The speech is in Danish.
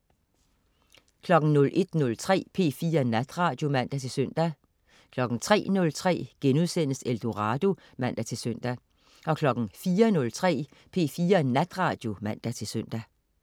01.03 P4 Natradio (man-søn) 03.03 Eldorado* (man-søn) 04.03 P4 Natradio (man-søn)